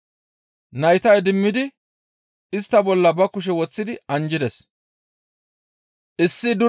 Nayta idimmidi istta bolla ba kushe woththidi anjjides.